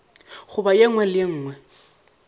goba ye nngwe le ye